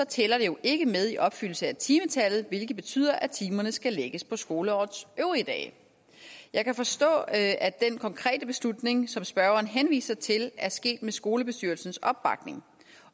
tæller det jo ikke med i opfyldelsen af timetallet hvilket betyder at timerne skal lægges på skoleårets øvrige dage jeg kan forstå at at den konkrete beslutning som spørgeren henviser til er sket med skolebestyrelsens opbakning